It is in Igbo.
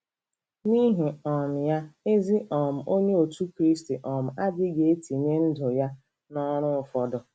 N'ihi um ya, ezi um Onye Otú Kristi um adịghị etinye ndụ ya n'ọrụ ụfọdụ.